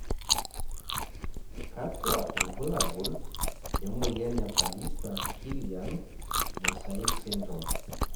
kakua irbulabol le moyian e Pallister Killian mosaic syndrome?